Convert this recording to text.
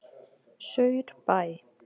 Saurbæ